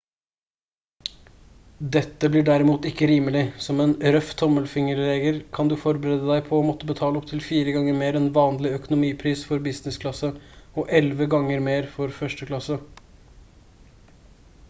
dette blir derimot ikke rimelig som en røff tommelfingerregel kan du forberede deg på å måtte betale opptil fire ganger mer enn vanlig økonomipris for business-klasse og elleve ganger mer for første klasse